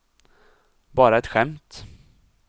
bara ett skämt